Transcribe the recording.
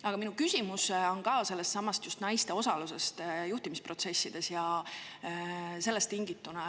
Aga minu küsimus on tingitud just sellestsamast naiste osalusest juhtimisprotsessides.